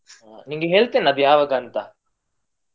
ಹಾ ನಿನ್ಗೆ ಹೇಳ್ತಾನೆ ಯಾವಾಗ ಅಂತ.